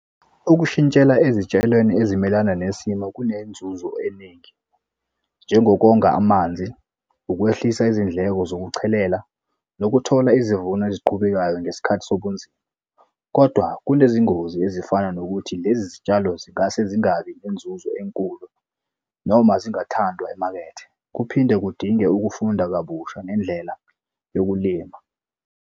Ukushintshela ezitshalweni ezimelana nesimo kunenzuzo eningi, njengokonga amanzi, ukwehlisa izindleko zokuchelela, nokuthola izivuno eziqhubekayo ngesikhathi sobunzima, kodwa kunezingozi ezifana nokuthi lezi zitshalo zingase zingabi nenzuzo enkulu, noma zingathandwa emakethe. Kuphinde kudinge ukufunda kabusha ngendlela yokulima.